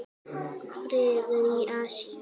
Friður í Asíu.